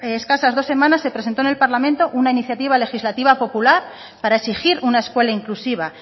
escasas dos semanas se presentó en el parlamento una iniciativa legislativa popular para exigir una escuela inclusiva